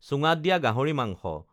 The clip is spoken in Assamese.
চুঙাত দিয়া গাহৰি মাংস